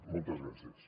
moltes gràcies